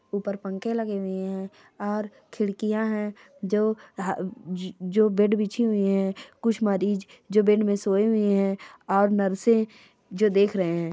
ऊपर पंखे लगे हुए है और खिड़िकया है जो जो बेड बिछी हुई है कुछ मरीज जो बेड में सोए हुए है और नर्से जो देख रहे है।